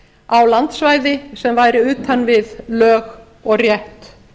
á landsvæði sem væri utan við lög og rétt